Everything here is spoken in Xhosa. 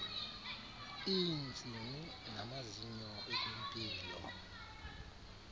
iintsini namazinyo ekwimpilo